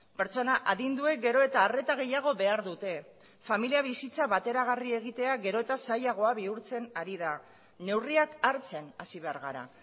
pertsona adinduek gero eta arreta gehiago behar dute familia bizitza bateragarri egitea gero eta zailagoa bihurtzen ari da neurriak hartzen hasi behar gara